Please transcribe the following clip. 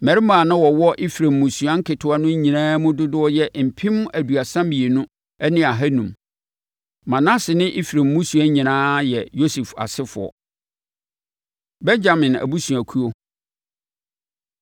Mmarima a na wɔwɔ Efraim mmusua nketewa no nyinaa mu dodoɔ yɛ mpem aduasa mmienu ne ahanum (32,500). Manase ne Efraim mmusua nyinaa yɛ Yosef asefoɔ. Benyamin Abusuakuo